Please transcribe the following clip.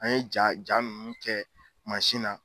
An ye ja ja munnu kɛ na